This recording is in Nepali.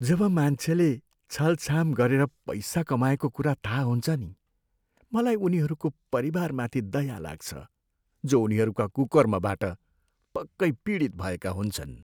जब मान्छेले छलछाम गरेर पैसा कमाएको कुरा थाहा हुन्छ नि, मलाई उनीहरूको परिवारमाथि दया लाग्छ, जो उनीहरूका कुकर्मबाट पक्कै पीडित भएका हुन्छन्।